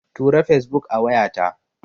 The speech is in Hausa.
Tura Fesbuk a wayata.